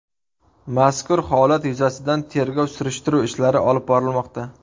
Mazkur holat yuzasidan tergov-surishtiruv ishlari olib borilmoqda.